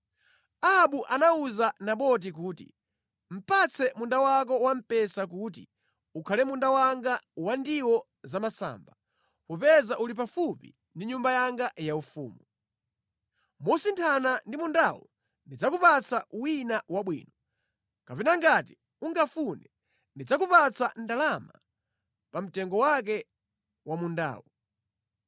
Ahabu anawuza Naboti kuti, “Patse munda wako wa mpesa kuti ukhale munda wanga wa ndiwo zamasamba, popeza uli pafupi ndi nyumba yanga yaufumu. Mosinthana ndi mundawu ndidzakupatsa wina wabwino, kapena ngati ungafune, ndidzakupatsa ndalama pa mtengo wake wa mundawu.”